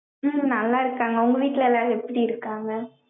உம் நல்லா இருக்காங்க, உங்க வீட்டுல எல்லாரும், எப்படி இருக்காங்க?